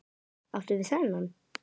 Áttu við þennan?